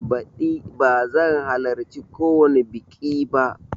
Baɗi bazan halarci kowani biƙi ba